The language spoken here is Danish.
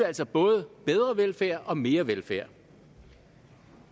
altså både bedre velfærd og mere velfærd